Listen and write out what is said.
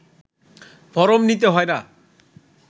form নিতে হয় না